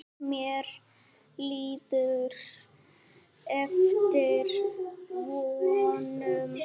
Mér líður eftir vonum.